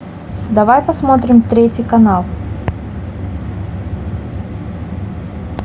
давай посмотрим третий канал